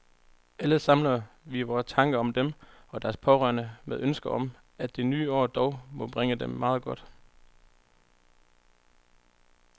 Alle samler vi vore tanker om dem og deres pårørende med ønsket om, at det nye år dog må bringe dem meget godt.